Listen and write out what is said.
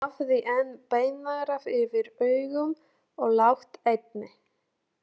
Hann hafði enn beingarða yfir augum og lágt enni.